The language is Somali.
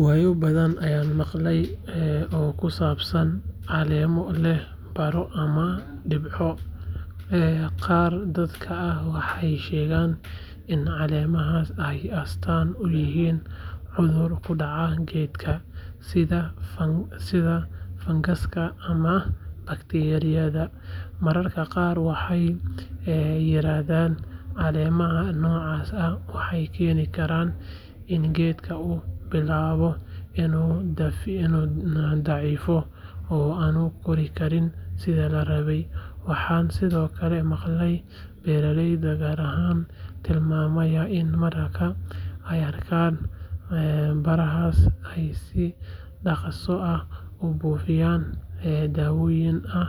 Waaayo badan ayaan maqalnay oo ku saabsan caleemo leh baro ama dhibco. Qaar dadka ah waxay sheegaan in caleemahaas ay astaan u yihiin cudur ku dhacay geedka, sida fangaska ama bakteeriyada. Mararka qaar, waxay yiraahdaan caleemaha noocaas ah waxay keeni karaan in geedka uu bilaabo inuu daciifo oo aanu kori karin sidii la rabay. Waxaan sidoo kale maqlay beeraleyda qaar oo tilmaamaya in marka ay arkaan barahaas, ay si dhaqso ah u buufiyaan daawooyin ay